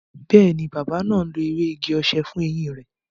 Bẹẹni, bàbá náà ń lo ewé igi-osè fún eyín rẹ